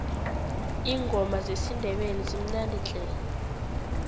iingoma zesindebele zimnandi tle